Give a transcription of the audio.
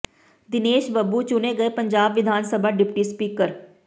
ਦਿਨੇਸ਼ ਬੱਬੂ ਚੁਣੇ ਗਏ ਪੰਜਾਬ ਵਿਧਾਨ ਸਭਾ ਡਿਪਟੀ ਸਪੀਕਰ